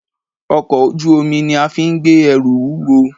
Ọkọ̀ ojú omi ni afín gbé ẹrù wúwo.